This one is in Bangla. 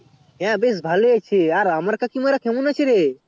হ্যাঁ বেশ ভালো হয়েছে হ্যাঁ তো আমার কাকী মারা কেমন আছে রে